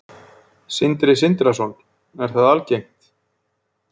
Sindri Sindrason: Er það algengt?